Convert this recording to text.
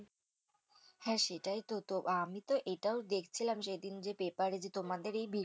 হ্যাঁ সেটাই তো তো আমিতো এটাও দেখছিলাম সেদিন পেপারে যে তোমাদের